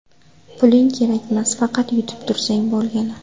Puling kerakmas, faqat yutib tursang bo‘lgani.